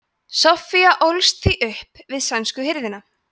soffía ólst því upp við sænsku hirðina